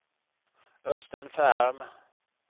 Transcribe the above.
Östen Ferm